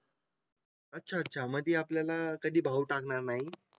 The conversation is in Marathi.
अच्छा अच्छा मध्ये आपल्याला कधी भाव टाकणार नाही